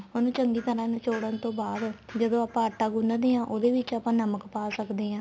ਉਹਨੂੰ ਚੰਗੀ ਤਰ੍ਹਾਂ ਨਿਚੋੜਨ ਤੋਂ ਬਾਅਦ ਜਦੋਂ ਆਪਾਂ ਆਟਾ ਗੁੰਨਦੇ ਆ ਉਹਦੇ ਵਿੱਚ ਆਪਾਂ ਨਮਕ ਪਾ ਸਕਦੇ ਆ